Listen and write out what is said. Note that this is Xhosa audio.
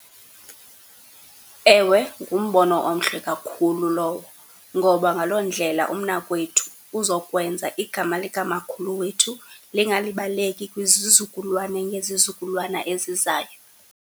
Ewe, ngumbono omhle kakhulu lowo ngoba ngaloo ndlela umnakwethu uza kwenza igama likamakhulu wethu lingalibaleki kwizizukulwana ngezizukulwana ezizayo.